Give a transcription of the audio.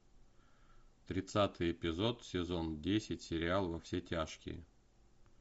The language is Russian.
тридцатый эпизод сезон десять сериал во все тяжкие